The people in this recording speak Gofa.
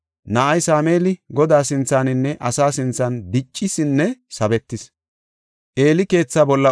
Na7ay Sameeli Godaa sinthaninne asa sinthan diccisinne sabetis.